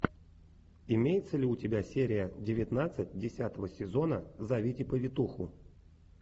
имеется ли у тебя серия девятнадцать десятого сезона зовите повитуху